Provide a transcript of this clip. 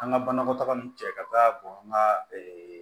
An ka banakɔtaga ni cɛ ka taa bɔn an ka